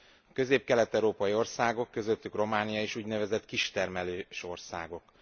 A közép kelet európai országok, közöttük Románia is úgynevezett kistermelős országok.